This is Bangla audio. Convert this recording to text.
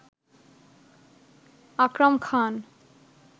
আকরাম খান